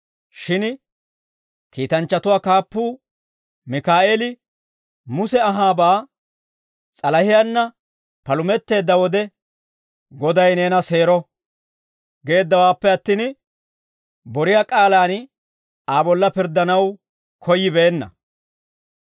Shin kiitanchchatuwaa kaappuu Mikaa'eeli Muse anhaabaa s'alahiyaanna palumetteedda wode, «Goday neena seero» geeddawaappe attin, boriyaa k'aalaan Aa bolla pirddanaw koyyibeenna.